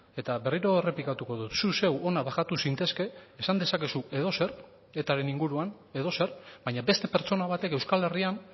eta berriro errepikatuko dut zu zeu hona bajatu zintezke esan dezakezu edozer eta ren inguruan edozer baina beste pertsona batek euskal herrian